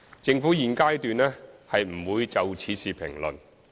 政府現階段不會就此事評論。